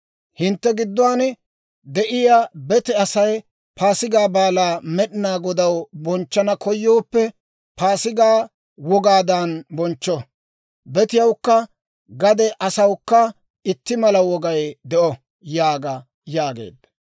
« ‹Hintte gidduwaan de'iyaa bete Asay Paasigaa Baalaa Med'inaa Godaw bonchchana koyooppe, Paasigaa wogaadan bonchcho. Betiyawukka gade asawukka itti mala wogay de'o› yaaga» yaageedda.